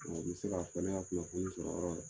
N mi se ka fɔ ne ka kunnafoni sɔrɔ yɔrɔ